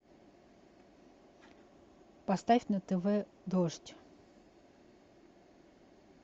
поставь на тв дождь